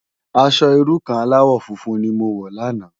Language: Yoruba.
Aṣò irú kàn álàwò fúnfún ni mó wò làná